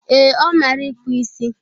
Ee, ọ mara ịkpụ isi